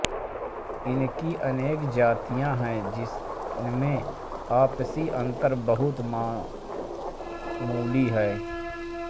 इसकी अनेक जातियाँ हैं जिनमें आपसी अंतर बहुत मामूली हैं